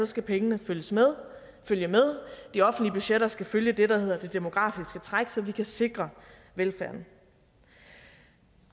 skal pengene følge med de offentlige budgetter skal følge det der hedder det demografiske træk så vi kan sikre velfærden